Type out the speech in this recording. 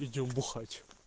идём бухать